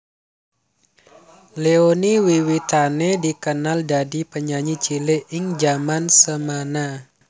Leony wiwitané dikenal dadi penyanyi cilik ing jaman semana